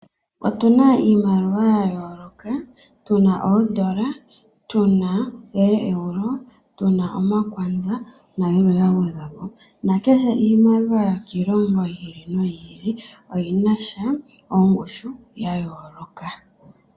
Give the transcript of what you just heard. Otu na iimaliwa ya yooloka, tu na oondola, tu na ooEuro, tu na omakwanza nayilwe ya gwedhwa po. Kehe iimaliwa yokiilongo yi ili no yi ili oyi na sha ongushu ya yooloka.